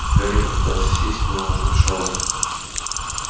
гарри попытался сесть но помешала